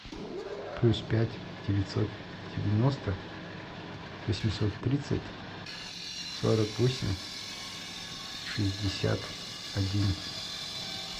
плюс пять девятьсот девяносто восемьсот тридцать сорок восемь шестьдесят один